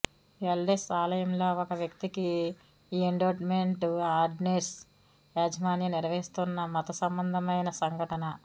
ఎల్డెస్ ఆలయంలో ఒక వ్యక్తికి ఎండోవ్మెంట్ ఆర్డినెన్స్ యాజమాన్యం నిర్వహిస్తున్న మతసంబంధమైన సంఘటన